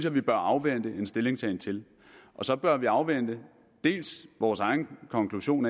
vi bør afvente en stillingtagen til og så bør vi afvente vores egen konklusion